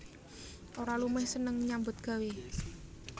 Ora lumeh seneng nyambut gawé